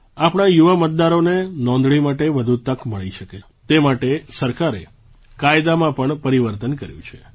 આપણા યુવા મતદારોને નોંધણી માટે વધુ તક મળી શકે તે માટે સરકારે કાયદામાં પણ પરિવર્તન કર્યું છે